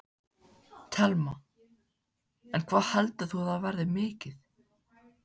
Telma: En hvað heldur þú að það verði mikið?